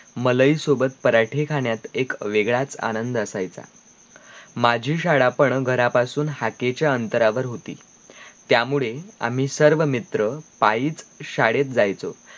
मलई सोबत पराठे खाण्यात एक वेगळाच आनंद असायचा माझी शाळा पण घरा पासून हाकेच्या अंतरा वर होती त्या मुळे आम्ही सर्व मित्र पाईच शाळेत जायचो